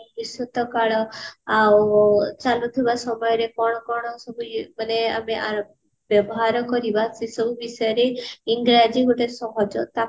ଭବିଷ୍ୟତ କାଳ ଆଉ ଚାଲୁଥିବା ସମୟରେ କଣ କଣ ସବୁ ମାନେ ଆ ବ୍ୟବହାର କରିବା ସେସବୁ ବିଷୟରେ ଇଂରାଜୀ ଗୋଟେ ସହଜ ତାକୁ